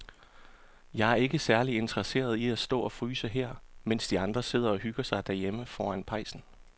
Jeg er ikke særlig interesseret i at stå og fryse her, mens de andre sidder og hygger sig derhjemme foran pejsen.